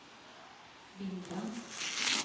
bilda